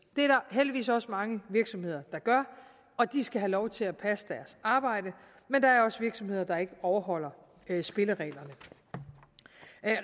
der heldigvis også mange virksomheder der gør og de skal have lov til at passe deres arbejde men der er også virksomheder der ikke overholder spillereglerne